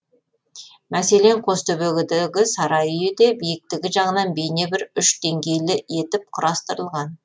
мәселен қостөбедегі сарай үйі де биіктігі жағынан бейне бір үш денгейлі етіп құрастырылған